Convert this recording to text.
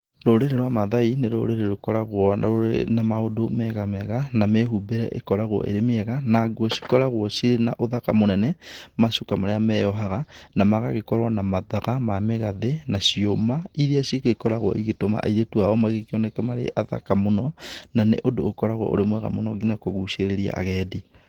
Rũrĩrĩ rwa Mathai nĩ rũrĩrĩ rũkoragwo rũrĩ na maũndũ mega mega na mĩhumbĩre ĩkoragwo ĩrĩ mĩega na nguo cikoragwo cina ũthaka mũnene macũka marĩa meyohaga na magagĩkorwo na mathaga ma mĩgathĩ na ciũma iria cigĩkoragwo igĩtũma airĩtu ao magĩkĩoneke marĩ athaka mũno na nĩ ũndũ ũkoragwo ũrĩ mwega mũno nginya kũgucĩrĩria agendi.